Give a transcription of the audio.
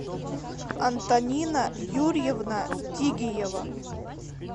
антонина юрьевна тигиева